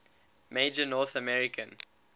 major north american